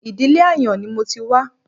Ìdílé ààyàn ni mo ti wá